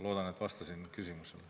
Loodan, et ma vastasin küsimusele.